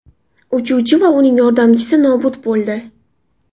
Uchuvchi va uning yordamchisi nobud bo‘ldi.